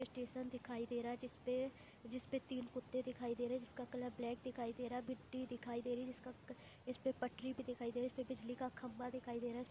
Station दिखाई दे रहा है जिस पे जिस पे तीन कुत्ते दिखाई दे रहे है जिसका कलर ब्लैक दिखाई दे रहा है गिट्टी दिखाई दे रही है जिसका इस पे पटरी भी दिखाई दे रही है इस पे बिजली का खम्भा दिखाई दे रहा है।